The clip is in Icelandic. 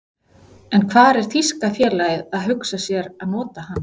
En hvar er þýska félagið að hugsa sér að nota hana?